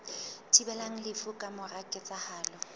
thibelang lefu ka mora ketsahalo